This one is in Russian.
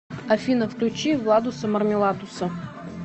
афина включи владуса мармеладуса